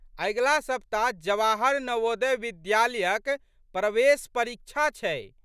अगिला सप्ताह जवाहर नवोदय विद्यालयक प्रेवेश परीक्षा छै।